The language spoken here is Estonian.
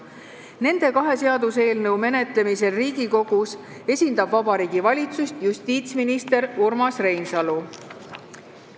Nende kahe seaduseelnõu menetlemisel Riigikogus esindab Vabariigi Valitsust justiitsminister Urmas Reinsalu.